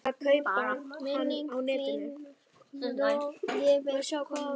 Minning þín lifir, Konni minn.